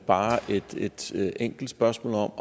bare et enkelt spørgsmål